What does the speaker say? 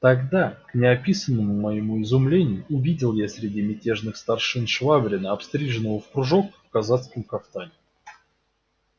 тогда к неописанному моему изумлению увидел я среди мятежных старшин швабрина обстриженного в кружок и в казацком кафтане